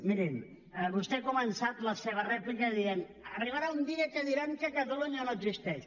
miri vostè ha començat la seva rèplica dient arribarà un dia que diran que catalunya no existeix